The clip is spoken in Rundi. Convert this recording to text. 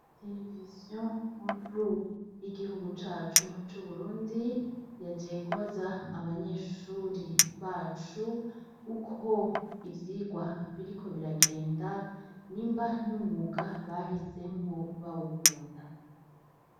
Televiziyo nkuru y'igihugu cacu c'Uburundi, yaje kubaza abanyeshure bacu, uko ivyigwa biriko biragenda nimba n'umwuga bahisemwo bawukunda.